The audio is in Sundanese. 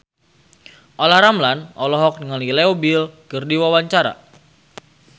Olla Ramlan olohok ningali Leo Bill keur diwawancara